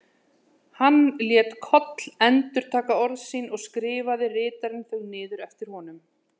Hann lét Koll endurtaka orð sín og skrifaði ritarinn þau niður eftir honum.